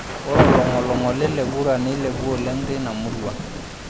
Ore olong'oling'oli le kura neilepua oleng teina murua.